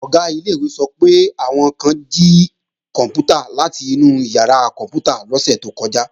Ọ̀gá ilé-ìwé sọ pé, àwọn kan jí kòǹpútà láti inú ìyàrá kòǹpútà lọ́sẹ̀ tó kọjá